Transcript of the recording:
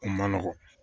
Kun man nɔgɔn